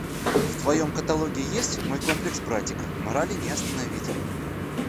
в твоем каталоге есть мой комплекс братика морали не остановить